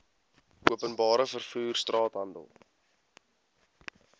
openbare vervoer straathandel